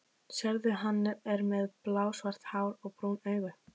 Sérðu, hann er með blásvart hár og brún augu?